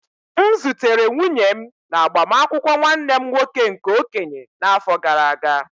M zutere nwunye m na agbamakwụkwọ nwanne m nwoke nke okenye n'afọ gara aga.